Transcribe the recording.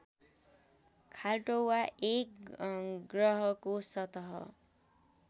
खाल्टो वा एक ग्रहको सतह